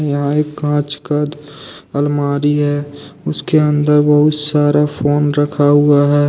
यह एक कांच का अलमारी है। उसके अन्दर बहुत सारा फोन रखा हुआ है।